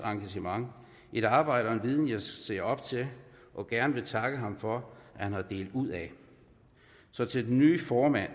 engagement et arbejde og en viden jeg ser op til og gerne vil takke ham for at have delt ud af så til den nye formand